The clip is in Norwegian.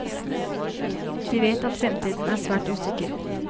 De vet at fremtiden er svært usikker.